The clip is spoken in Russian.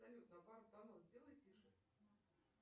салют на пару тонов сделай тише